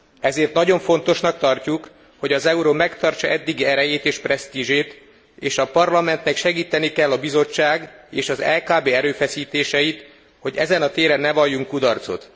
Ezért nagyon fontosnak tartjuk, hogy az euró megtartsa eddigi erejét és presztízsét, és a Parlamentnek segíteni kell a Bizottság és az EKB erőfeszítéseit, hogy ezen a téren ne valljunk kudarcot.